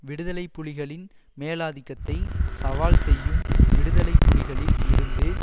விடுதலை புலிகளின் மேலாதிக்கத்தை சவால் செய்யும் விடுதலை புலிகளில் இருந்து